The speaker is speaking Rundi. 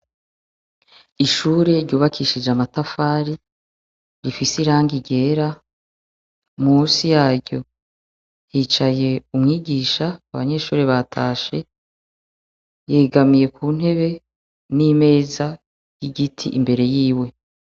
Ishure ryubakishije amatafari rifise irangi ryera. Musi yaryo hicaye umwigisha. Abanyeshure batashe. Yegamiye ku ntebe, n'imeza y'igiti imbere yiwe.